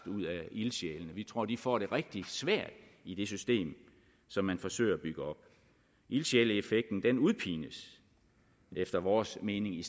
ud af ildsjælene vi tror de får det rigtig svært i det system som man forsøger at bygge op ildsjæleeffekten udpines efter vores mening i